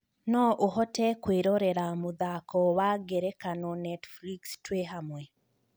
no ũhote kwĩrorera mũthako wa ngerekano Netflix twĩ hamwe